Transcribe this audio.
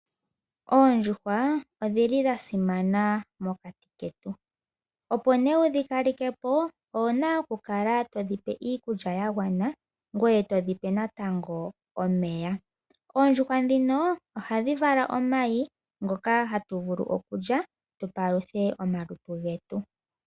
Oondjuhwa odhili dha simana mokati ketu opo nee wudhi kalekepo owuna okukala to dhi pe iikulya ya gwana, ngweye to dhi oe natango omeya. ohadhi vala wo omayi ngoka hatuli opo tu paluthe omalutu getu.